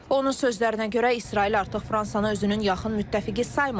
Onun sözlərinə görə, İsrail artıq Fransanı özünün yaxın müttəfiqi saymır.